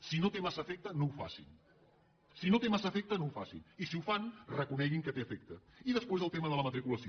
si no té massa efecte no ho facin si no té massa efecte no ho facin i si ho fan reconeguin que té efecte i després el tema de la matriculació